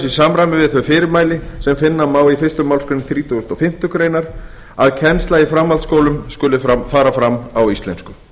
samræmi við þau fyrirmæli sem finna má í fyrstu málsgrein þrítugustu og fimmtu grein að kennsla í framhaldsskólum skuli fara fram á íslensku